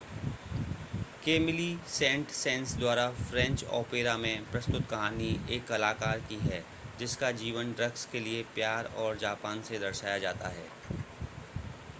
Camillo Saint Saens द्वारा French opera में प्रस्तुत कहानी एक कलाकार की है जिसका जीवन ड्रग्स के लिए प्यार और जापान से दर्शाया जाता है